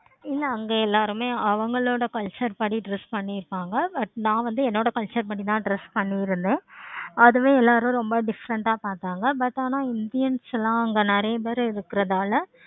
என்ன அங்க எல்லாருமே அவங்களோட culture படி dress பண்ணிருப்பாங்க but நான் வந்து culture படி தான் dress பன்னிருந்தேன். அதுவே எல்லாரும் ரொம்ப different ஆஹ் பார்த்தாங்க. but indians லாம் அங்க நெறைய பேரு இருக்கனால